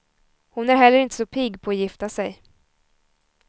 Hon är heller inte så pigg på att gifta sig.